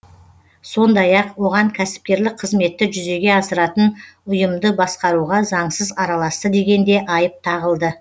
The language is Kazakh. сондай ақ оған кәсіпкерлік қызметті жүзеге асыратын ұйымды басқаруға заңсыз араласты деген де айып тағылды